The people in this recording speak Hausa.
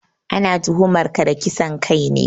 Ana tuhumar ka da kisan kai ne